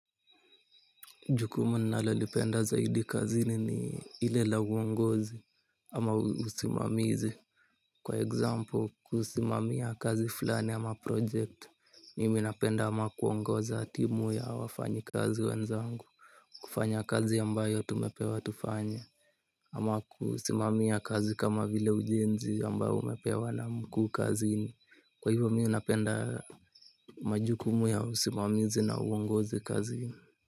Jukumu ninalolipenda zaidi kazini ni ile la uongozi ama usimamizi. Kwa example, kusimamia kazi fulani ama projekt, mimi napenda ama kuongoza timu ya wafanyikazi wenzangu. Kufanya kazi ambayo tumepewa tufanye. Ama kusimamia kazi kama vile ujenzi ambao umepewa na mkuu kazini. Kwa hivyo mi napenda majukumu ya usimamizi na uongozi kazini.